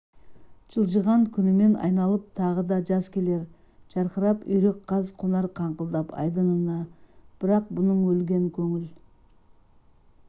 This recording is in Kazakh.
жылжыған күнімен айналып тағы да жаз келер жарқырап үйрек-қаз қонар қаңқылдап айдынына бірақ бұның өлген көңіл